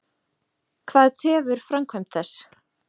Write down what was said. Hvað tefur framkvæmd þess?